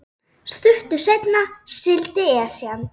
Stuttu seinna sigldi Esjan